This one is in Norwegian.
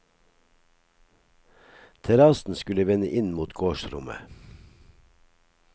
Terrassen skulle vende inn mot gårdsrommet.